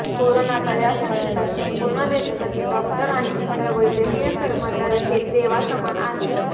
करोनाच्या यासंकटात संपूर्ण देशासाठी डॉक्टर आणि इतर वैद्यकीय कर्मचारी हे देवासमान आहेत